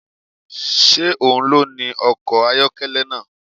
Ṣé òun ló ni ọkọ̀ ayọ́kẹ́lẹ́ náà?